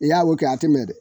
I ya o kɛ a te mɛ dɛ.